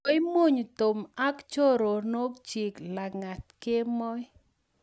koimuny Tom ak choronoikchich lagat kemoi